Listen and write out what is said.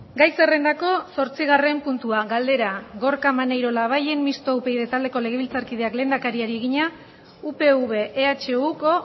gai zerrendako zortzigarren puntua galdera gorka maneiro labayen mistoa upyd taldeko legebiltzarkideak lehendakariari egina upv ehuko